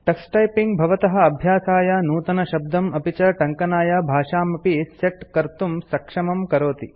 Tux typing भवतः अभ्यासाय नूतनशब्दम् अपि च टङ्कनाय भाषामपि सेट् कर्तुं सक्षमं करोति